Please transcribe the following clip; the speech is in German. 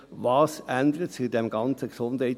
Was ändert sich in diesem ganzen Gesundheitswesen?